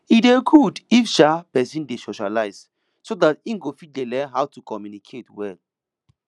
e dey good if um person dey socialise so dat im go fit dey learn how to communicate well